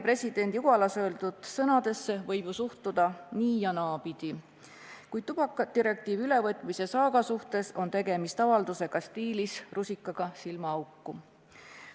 " Presidendi Ugalas öeldud sõnadesse võib suhtuda nii- ja naapidi, kuid tubakadirektiivi ülevõtmise saaga puhul sobiks see nagu rusikas silmaauku.